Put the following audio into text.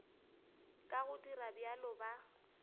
ka go dira bjalo ba